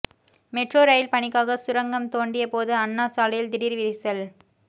metro rail பணிக்காக சுரங்கம் தோண்டியபோது அண்ணா சாலையில் திடீர் விரிசல்